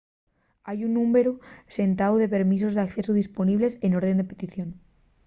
hai un númberu llendáu de permisos d'accesu disponibles n'orden de petición